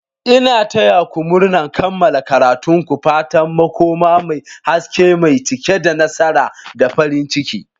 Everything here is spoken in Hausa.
Ina taya ku murnar kammala karatun ku! Fatan makoma mai haske mai cike da nasara da farin ciki.